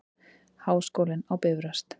Háskólinn á Bifröst.